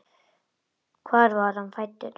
Hvar var hann fæddur?